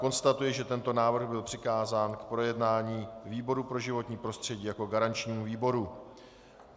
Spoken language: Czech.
Konstatuji, že tento návrh byl přikázán k projednání výboru pro životní prostředí jako garančnímu výboru.